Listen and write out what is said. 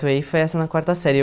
foi essa na quarta série.